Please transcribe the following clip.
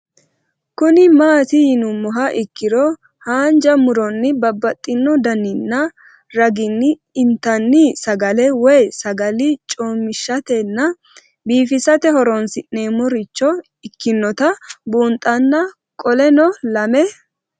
Kuni mati yinumoha ikiro hanja muroni babaxino daninina ragini intani sagale woyi sagali comishatenna bifisate horonsine'morich ikinota bunxana qoleno lame